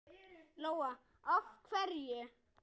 Lóa: Af hverju?